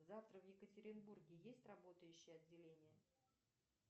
завтра в екатеринбурге есть работающие отделения